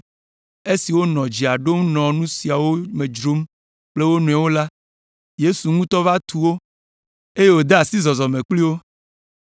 Esi wonɔ dzea ɖom nɔ nu siawo me dzrom kple wo nɔewo la, Yesu ŋutɔ va tu wo, eye wòde asi zɔzɔme kpli wo.